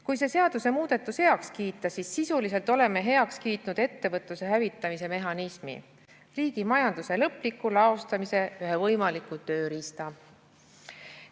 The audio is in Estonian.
Kui see seadusemuudatus heaks kiita, siis sisuliselt oleme heaks kiitnud ettevõtluse hävitamise mehhanismi, riigi majanduse lõpliku laostamise ühe võimaliku tööriista.